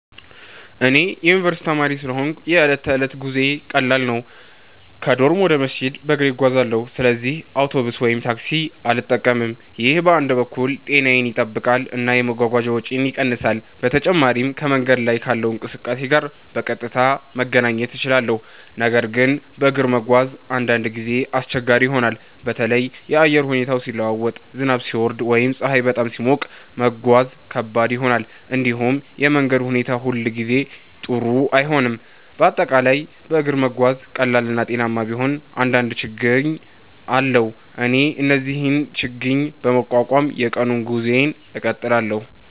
እኔ የዩኒቨርስቲ ተማሪ ስለሆንሁ የዕለት ተዕለት ጉዞዬ ቀላል ነው። ከዶርም ወደ መስጂድ በእግሬ እጓዛለሁ፣ ስለዚህ አውቶቡስ ወይም ታክሲ አልጠቀምም። ይህ በአንድ በኩል ጤናዬን ይጠብቃል እና የመጓጓዣ ወጪን ይቀንሳል። በተጨማሪም ከመንገድ ላይ ካለው እንቅስቃሴ ጋር በቀጥታ መገናኘት እችላለሁ። ነገር ግን በእግር መጓዝ አንዳንድ ጊዜ አስቸጋሪ ይሆናል። በተለይ የአየር ሁኔታ ሲለዋወጥ፣ ዝናብ ሲወርድ ወይም ፀሐይ በጣም ሲሞቅ መጓዝ ከባድ ይሆናል። እንዲሁም የመንገድ ሁኔታ ሁሉ ጊዜ ጥሩ አይሆንም፤ በአጠቃላይ በእግር መጓዝ ቀላል እና ጤናማ ቢሆንም አንዳንድ ችግኝ አለው። እኔ ግን እነዚህን ችግኝ በመቋቋም የቀኑን ጉዞዬን እቀጥላለሁ።